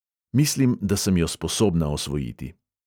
Mislim, da sem jo sposobna osvojiti!